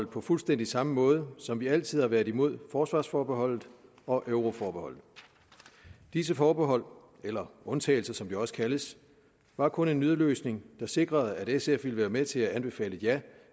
på fuldstændig samme måde som vi altid har været imod forsvarsforbeholdet og euroforbeholdet disse forbehold eller undtagelser som de også kaldes var kun en nødløsning der sikrede at sf ville være med til at anbefale et ja